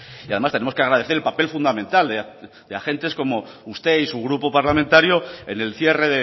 y además tenemos que agradecer el papel fundamental de agentes como usted y su grupo parlamentario en el cierre